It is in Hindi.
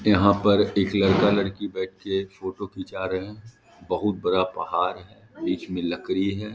यहाँ पर एक लड़का -लड़की बैठ के फोटो खींच रहे हैं बहुत बड़ा पहाड़ है बीच में लकड़ी है ।